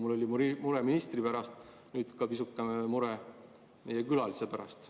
Nii nagu mul oli mure ministri pärast, on nüüd pisukene mure ka meie külalise pärast.